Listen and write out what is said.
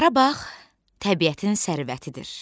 Qarabağ təbiətin sərvətidir.